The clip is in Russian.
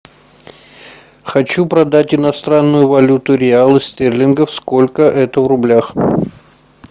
хочу продать иностранную валюту реалы стерлингов сколько это в рублях